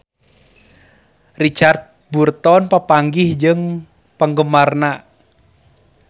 Richard Burton papanggih jeung penggemarna